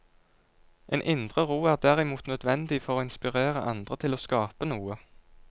En indre ro er derimot nødvendig for å inspirere andre til å skape noe.